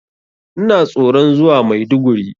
Ina tsoron zuwa Maiduguri.